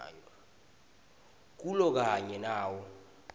kulo kanye nawo